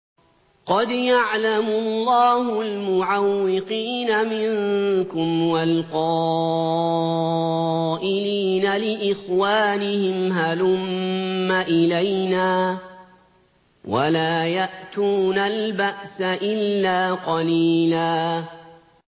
۞ قَدْ يَعْلَمُ اللَّهُ الْمُعَوِّقِينَ مِنكُمْ وَالْقَائِلِينَ لِإِخْوَانِهِمْ هَلُمَّ إِلَيْنَا ۖ وَلَا يَأْتُونَ الْبَأْسَ إِلَّا قَلِيلًا